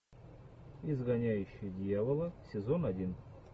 изгоняющий дьявола сезон один